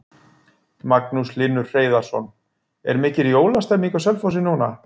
Magnús Hlynur Hreiðarsson: Er mikil jólastemning á Selfossi núna?